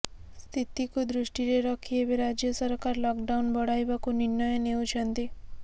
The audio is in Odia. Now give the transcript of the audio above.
ସ୍ଥିତିକୁ ଦୃଷ୍ଟିରେ ରଖି ଏବେ ରାଜ୍ୟ ସରକାର ଲକ୍ଡାଉନ୍ ବଢାଇବାକୁ ନିର୍ଣ୍ଣୟ ନେଉଛନ୍ତି